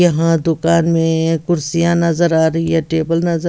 यहाँ दुकान में ये कुर्सियाँ नज़र आ रही हैं टेबल नज़र--